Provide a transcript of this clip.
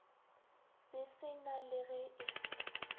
se sena le ge e